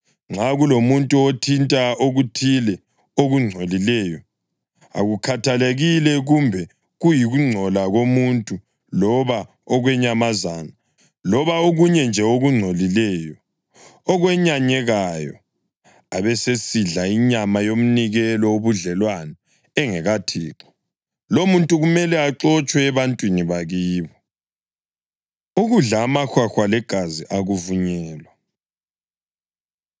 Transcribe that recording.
Nxa kulomuntu othinta okuthile okungcolileyo, akukhathalekile kumbe kuyikungcola komuntu loba okwenyamazana loba okunye nje okungcolileyo, okwenyanyekayo, abesesidla inyama yomnikelo wobudlelwano engekaThixo, lowomuntu kumele axotshwe ebantwini bakibo.’ ” Ukudla Amahwahwa Legazi Akuvunyelwa